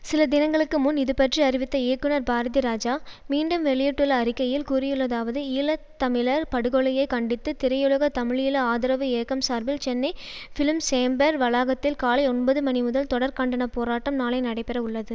சில தினங்களுக்கு முன் இதுபற்றி அறிவித்த இயக்குனர் பாரதிராஜா மீண்டும் வெளியிட்டுள்ள அறிக்கையில் கூறியுள்ளதாவது ஈழ தமிழர் படுகொலையை கண்டித்து திரையுலக தமிழீழ ஆதரவு இயக்கம் சார்பில் சென்னை பிலிம்சேம்பர் வளாகத்தில் காலை ஒன்பதுமணி முதல் தொடர் கண்டன போராட்டம் நாளை நடைபெறவுள்ளது